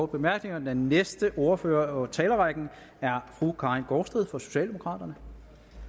bemærkninger den næste ordfører i talerrækken er fru karin gaardsted fra socialdemokraterne